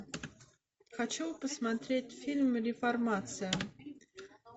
хочу посмотреть фильм реформация